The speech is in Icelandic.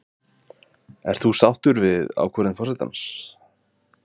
Sindri: Ert þú sáttur við ákvörðun forsetans?